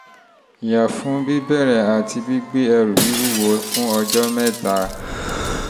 yẹra fún bíbẹ̀rẹ̀ àti gbígbé ẹrù wíwúwo fún ọjọ́ mẹ́ta